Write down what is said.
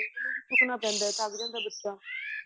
ਉਹਨੂੰ ਵੀ ਚੁੱਕਣਾ ਪੈਂਦਾ ਏ ਥੱਕ ਜਾਂਦਾ ਏ ਬੱਚਾ